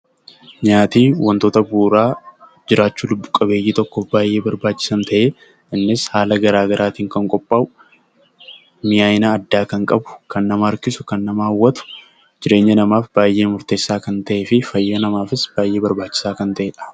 Nyaati wantoota bu'uuraa lubbu qabeeyyii tokkoof baayyee barbaachisaan ta'ee; innis haala garaa garaatiin kan qophaa'u, mi'aina addaa kan qabu, kan nama harkisu, hawwatu, jireenya namaatiif baayyee murteessaa kan ta'ee fi fayyaa namaatiif baayyee barbaachisaa kan ta'eedha.